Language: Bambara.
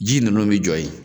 Ji ninnu bɛ jɔ yen